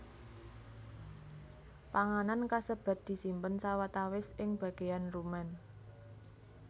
Panganan kasebat disimpen sawatawis ing bagéyan rumen